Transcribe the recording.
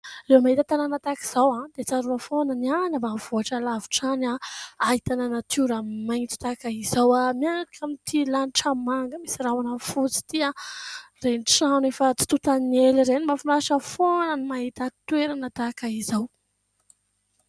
Rehefa mahita tanàna tahaka izao aho dia tsarona foana ny any ambanivohitra lavitra any ah ahitana natiora maintso tahaka izao ah miaraka amin'ity lanitra manga misy rahona fotsy ity a ireny trano efa tsy totan'ny ela ireny mahafinaritra foana ny mahita toerana tahaka izao